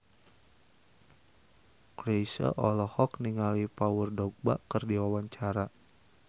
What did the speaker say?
Chrisye olohok ningali Paul Dogba keur diwawancara